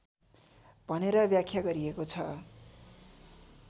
भनेर व्याख्या गरिएको छ